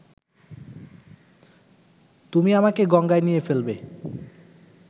তুমি আমাকে গঙ্গায় নিয়ে ফেলবে